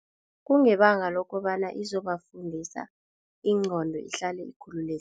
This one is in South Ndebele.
Kungebanga lokobana izobafundisa, ingqondo ihlale ikhululekile.